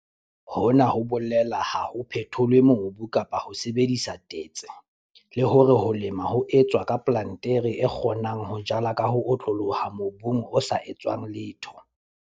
Hona ho bolela ha ho phetholwe mobu kapa ho sebedisa tetse, le hore ho lema ho etswa ke plantere e kgonang ho jala ka ho otloloha mobung o sa etswang letho.